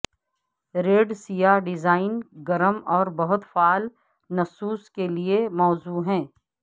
red سیاہ design گرم اور بہت فعال نصوص کے لئے موزوں ہے